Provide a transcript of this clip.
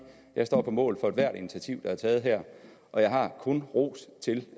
jeg står på mål for ethvert initiativ der er taget her og jeg har kun ros til